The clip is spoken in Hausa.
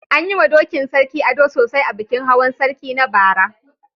An yi wa dokin Sarki ado sosai a bikin Hawan sarki na bara.